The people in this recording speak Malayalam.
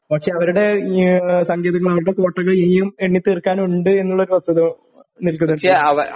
പക്ഷേ അവരുടെ ഈ ഏ സങ്കേതങ്ങൾ കോട്ടകൾ ഇനിയും ഇനി തീർക്കാനുണ്ട് എന്നുള്ളൊരു വസ്തുത നിൽക്കുന്നുണ്ട്